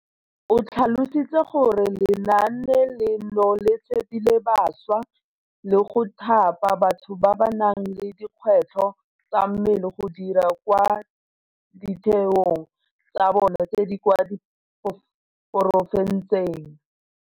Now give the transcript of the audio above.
O tlhalositse gore le naane leno le tshepile bašwa le go thapa batho ba ba nang le dikgwetlho tsa mmele go dira kwa ditheong tsa bona tse di kwa di porofenseng.